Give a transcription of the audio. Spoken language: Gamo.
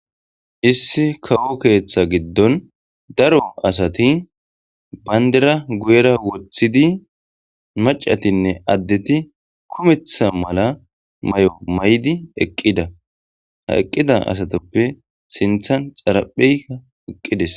issi kawo keeththa giddon daro asati bandiera guyera woththidi maccatiinne addeti kumeththa mala may'o may'di eqqidda ha eqqida asatoppe siinththan xaraphpheyi eqqidees